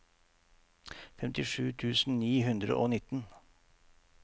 femtisju tusen ni hundre og nitten